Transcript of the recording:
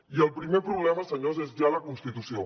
i el primer problema senyors és ja la constitució